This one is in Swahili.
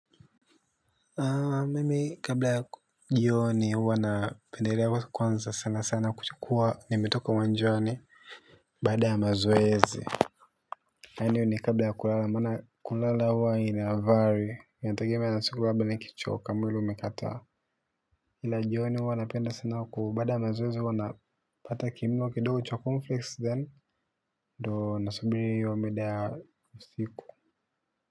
Mimi kabla ya jioni huwa napendelea kwanza sana sana kuchukua nimetoka uwanjani baada ya mazoezi Kani ni kabla ya kulala mana kulala huwa ina avari ya natogema ya nasikulaba ni kichoka mwilo umekataa. Kila jioni uwana napenda sana huu bada ya mazoezi huwa na pata kimlo kidogo chokunfix then do nasubiri iyo mida ya usiku.